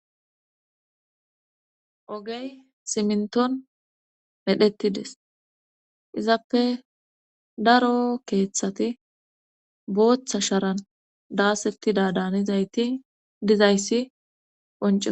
Ogey siminton medhettides izappe daro keeththati booththa sharan daasettida daanizayti dizayssi qonc